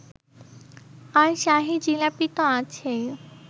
আর শাহী জিলাপিতো আছেই